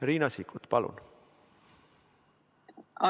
Riina Sikkut, palun!